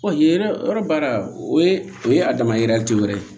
yen yɔrɔ baara o ye a dama ye wɛrɛ ye